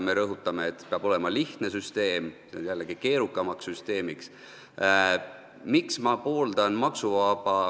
Me rõhutame, et süsteem peab olema lihtne, aga see teeb selle jällegi keerukamaks.